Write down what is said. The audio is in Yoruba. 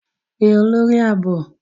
Pe olori aabo!